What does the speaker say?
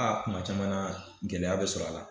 Aa kuma caman na gɛlɛya bɛ sɔrɔ a la